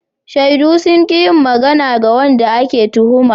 Shaidu sun ƙi yin magana da wanda ake tuhuma.